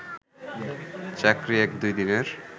চাকরি এক-দুই দিনের